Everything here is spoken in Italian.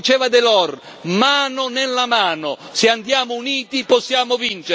Se andiamo uniti possiamo vincere anche realizzando i nostri sogni!